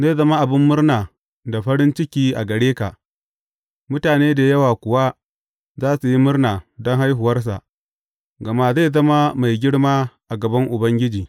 Zai zama abin murna da farin ciki a gare ka, mutane da yawa kuwa za su yi murna don haihuwarsa, gama zai zama mai girma a gaban Ubangiji.